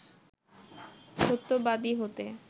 সত্যবাদী হতে